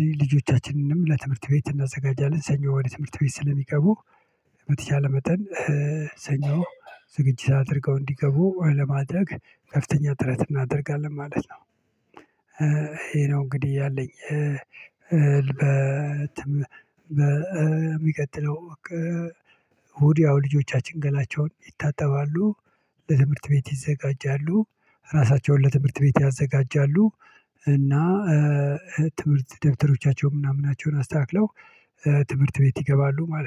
እንግዲህ ልጆቻችንንም ለትምህርት ቤት እናዘጋጃለን ሰኞ ወደ ትምህርት ቤት ስለሚቀቡ በተቻለ መጠን ሰኞ ዝግጅት አድርገው እንዲገቡ ለማድረግ ከፍተኛ ጥረት እናደርጋለን። ማለት ነው። ይሄ ነው እንግዲህ ያለኝ። ልበትም በሚቀጥለው ወዲያው ልጆቻችን ገላቸውን ይታጠባሉ። ለትምህርት ቤት ይዘጋጃሉ። ራሳቸውን ለትምህርት ቤት ያዘጋጃሉ። እና ትምህርት ደብተሮቻቸውን ምናምናቸውን አስተካክለው ትምህርት ቤት ይገባሉ ማለት ነው